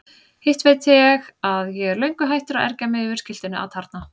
Hitt veit ég að ég er löngu hættur að ergja mig yfir skiltinu atarna.